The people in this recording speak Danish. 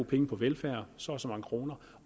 penge på velfærd så og så mange kroner